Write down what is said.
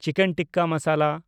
chicken tikka masala